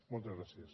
moltes gràcies